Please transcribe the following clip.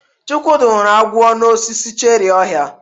Chukwudi hụrụ agwo n'osisi cherrị ohia.